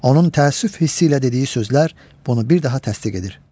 Onun təəssüf hissi ilə dediyi sözlər bunu bir daha təsdiq edir.